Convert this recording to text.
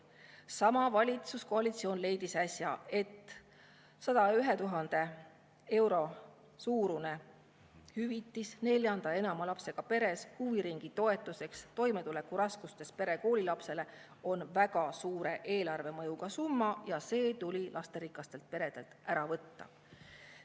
Sama valitsuskoalitsioon leidis äsja, et 101 000 euro suurune hüvitis nelja ja enama lapsega peredele, mis oli mõeldud huviringitoetuseks toimetulekuraskustes perede koolilastele, on väga suure eelarvemõjuga summa ja see tuli lasterikastelt peredelt ära võtta.